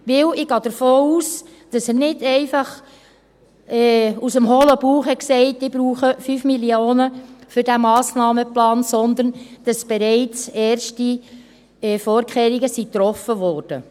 Denn ich gehe davon aus, dass er nicht einfach aus dem hohlen Bauch heraus sagte: «Ich brauche 5 Mio. Franken für diesen Massnahmenplan», sondern dass bereits erste Vorkehrungen getroffen wurden.